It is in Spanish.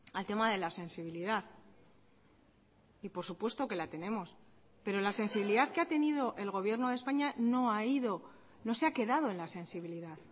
al tema de la sensibilidad y por supuesto que la tenemos pero la sensibilidad que ha tenido el gobierno de españa no ha ido no se ha quedado en la sensibilidad